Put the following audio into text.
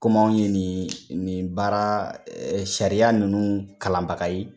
Kɔmi anw ye nin nin baara sariya ninnu kalanbaga ye.